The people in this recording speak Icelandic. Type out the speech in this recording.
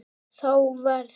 Þá verð